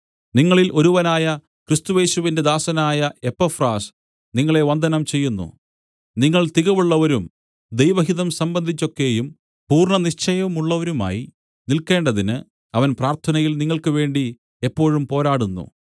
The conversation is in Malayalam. നിങ്ങളിൽ ഒരുവനായ ക്രിസ്തുയേശുവിന്റെ ദാസനായ എപ്പഫ്രാസ് നിങ്ങളെ വന്ദനം ചെയ്യുന്നു നിങ്ങൾ തികവുള്ളവരും ദൈവഹിതം സംബന്ധിച്ചൊക്കെയും പൂർണ്ണനിശ്ചയമുള്ളവരുമായി നില്ക്കേണ്ടതിന് അവൻ പ്രാർത്ഥനയിൽ നിങ്ങൾക്കുവേണ്ടി എപ്പോഴും പോരാടുന്നു